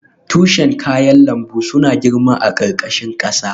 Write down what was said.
Tushen kayan lambu suna girma a ƙarƙashin ƙasa.